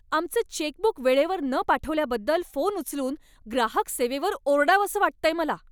आमचं चेकबुक वेळेवर न पाठवल्याबद्दल फोन उचलून ग्राहक सेवेवर ओरडावंसं वाटतंय मला.